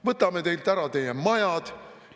"Võtame teilt ära teie majad.